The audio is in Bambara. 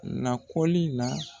Lakɔli la.